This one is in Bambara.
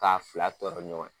K'a fila tɔɔrɔ ɲɔgɔn ye.